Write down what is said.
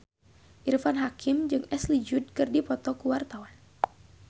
Irfan Hakim jeung Ashley Judd keur dipoto ku wartawan